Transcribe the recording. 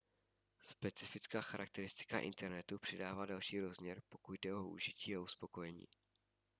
specifická charakteristika internetu přidává další rozměr pokud jde o užití a uspokojení